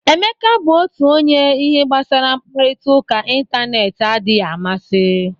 Emeka bụ otu onye ihe gbasara mkparịta ụka ịntanetị adịghị amasi.